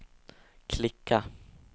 klicka